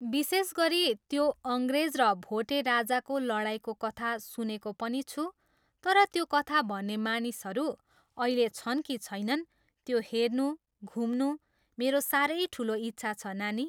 विशेष गरी त्यो अङ्ग्रेज र भोटे राजाको लडाइँको कथा सुनेको पनि छु तर त्यो कथा भन्ने मानिसहरू अहिले छन् कि छैनन् त्यो हेर्नु, घुम्नु मेरो साह्रै ठुलो इच्छा छ, नानी।